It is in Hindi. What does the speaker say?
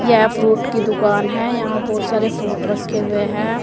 यह फ्रूट की दुकान है यहां बहुत सारे फ्रूट रखे हुए हैं।